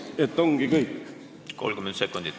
Teil on aega veel 30 sekundit.